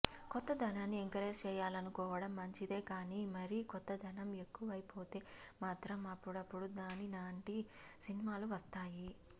కొత్తదనాన్ని encourage చేయాలనుకోవడం మంచిదే కానీ మరీ కొత్తదనం ఎక్కువైపోతే మాత్రం అప్పుడప్పుడూ నాని లాంటి సినిమాలు వస్తాయి